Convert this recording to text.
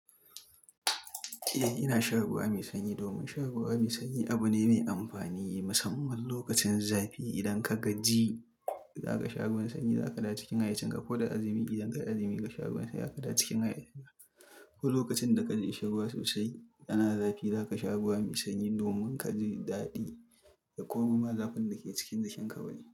Eh, ina sha ruwa mai sanyi domin sha ruwa mai sanyi abu ne mai amfani musamman lokacin zafi. Idan ka gaji, za ka sha ruwan sanyi, za ka da cikin haiwacin ka. Ko da azumi, idan ka yi azumi ka sha ruwan sanyi, za ka da cikin haiyyacin ka. Ko lokacin da ka ji kishin ruwa sosai ana zafi, za ka sha ruwa mai sanyi domin ka ji daɗi ya koroma zafin da ke cikin jikin kawai.